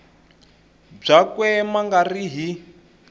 byakwe ma nga ri hi